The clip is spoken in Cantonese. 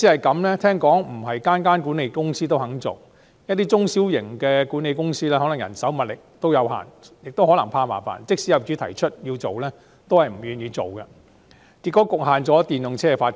據聞不是每間管理公司也願意安裝充電設施，一些中小型管理公司可能由於人手、物力有限，或由於怕麻煩，即使有業主要求安裝，也不願意，因此局限了電動車的發展。